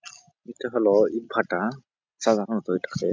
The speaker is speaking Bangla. ইটা হলো ইটভাটা। সাধারণত এইটাকে--